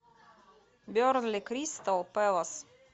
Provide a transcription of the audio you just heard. бернли кристал пэлас